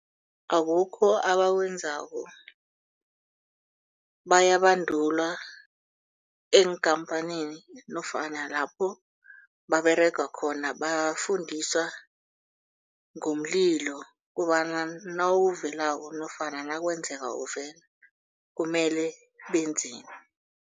Akukho abawenzako bayabandulwa eenkhamphanini nofana lapho baberega khona bafundiswa ngomlilo kobana nawuvelako nofana nakwenzeka uvele kumele benzeni.